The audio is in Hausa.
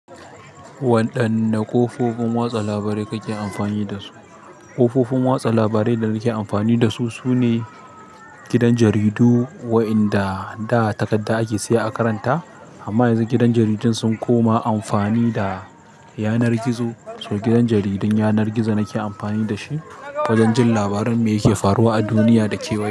Waɗanne ƙofofin watsa labarai kake amfani da su? Ƙofofin watsa labarai da nake amfani da su sune gidan jaridu, waƴanda da takarda ake siya a karanta. Amma yanzun gidan jaridun sun koma amfani da yanar gizo. So gidan jaridin yanar gizo nake amfani da shi wajen jin labarin me yake faruwa a duniya da kewaye.